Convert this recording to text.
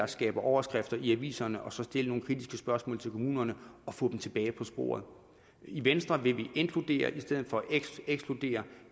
skaber overskrifter i aviserne og så stille nogle kritiske spørgsmål til kommunerne og få dem tilbage på sporet i venstre vil vi inkludere i stedet for at ekskludere